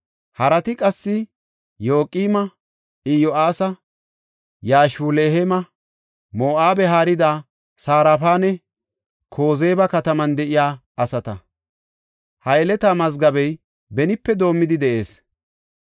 Harati qassi Yoqima, Iyo7aasa, Yashubileheema, Moo7abe haarida Sarafanne Kozeba kataman de7iya asata. Ha yeletaa mazgabey benipe doomidi de7ees.